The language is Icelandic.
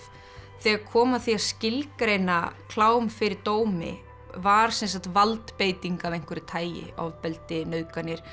þegar kom að því að skilgreina klám fyrir dómi var sem sagt valdbeiting af einhverju tagi ofbeldi nauðganir